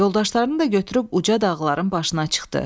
Yoldaşlarını da götürüb uca dağların başına çıxdı.